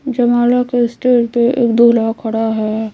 जयमाला के स्टेज पे एक दूल्हा खड़ा है।